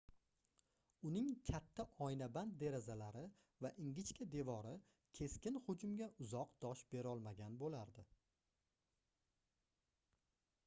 uning katta oynaband derazalari va ingichka devori keskin hujumga uzoq dosh berolmagan boʻlardi